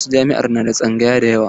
Wasu jami'a na da tsangaya da yawa.